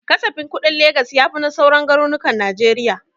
Kasafin kuɗin Legas ya fi na sauran garnukan najeriya